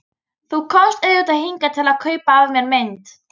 Þú komst auðvitað hingað til að kaupa af mér mynd.